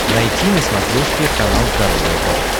найти на смотрешке канал здоровое тв